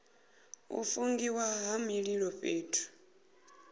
u fungiwa ha mililo fhethu